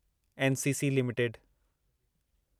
NCC limited